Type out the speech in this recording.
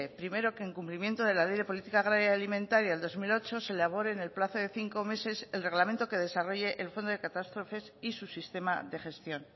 primero que en cumplimiento de la ley de política agraria y alimentaria de dos mil ocho se elabore en el plazo de cinco meses el reglamento que desarrolle el fondo de catástrofes y su sistema de gestión